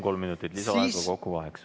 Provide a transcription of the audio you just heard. Kolm minutit lisaaega, kokku kaheksa.